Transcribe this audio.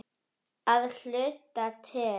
Að hluta til.